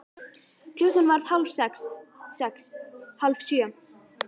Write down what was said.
Klukkan varð hálf sex. sex. hálf sjö.